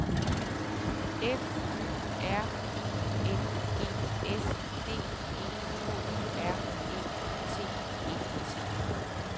F Y R I N G S D E K R E T E T